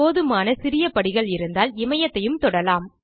போதுமான சிறிய படிகள் இருந்தால் இமயத்தையும் தொடலாம்